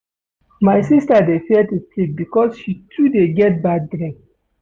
My sista dey fear to sleep because she too dey get bad dream.